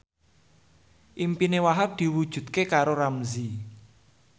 impine Wahhab diwujudke karo Ramzy